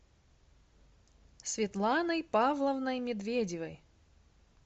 светланой павловной медведевой